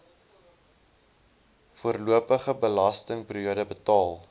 voorlopige belastingperiode betaal